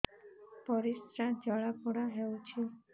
ପରିସ୍ରା ଜଳାପୋଡା ହଉଛି